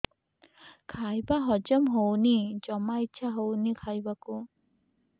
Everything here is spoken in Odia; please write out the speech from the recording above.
ଖାଇବା ହଜମ ହଉନି ଜମା ଇଛା ହଉନି ଖାଇବାକୁ